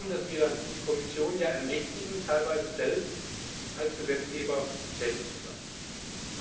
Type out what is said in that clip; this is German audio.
Es geht darum, dass wir die Kommission ermächtigen, teilweise selbst als Gesetzgeber tätig zu werden.